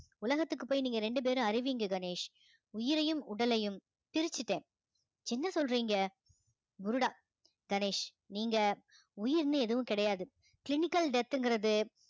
உலகத்துக்கு போய் நீங்க ரெண்டு பேரும் அறிவிங்க கணேஷ் உயிரையும் உடலையும் பிரிச்சிட்டேன் என்ன சொல்றீங்க புருடா கணேஷ் நீங்க உயிர்ன்னு எதுவும் கிடையாது clinical death ங்கறது